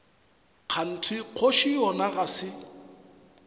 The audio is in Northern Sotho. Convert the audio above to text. kganthe kgoši yona ga se